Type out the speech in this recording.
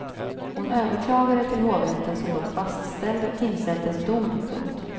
Hon överklagade till hovrätten som dock fastställde tingsrättens dom. punkt